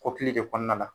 Kɔkili de kɔnɔna la